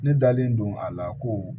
Ne dalen don a la ko